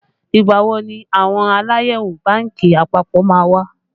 Ìgbà wo ni àwọn Aláyẹ̀wò bánkì àpapọ̀ má wá?